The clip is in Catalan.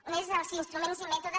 un és els instruments i mètodes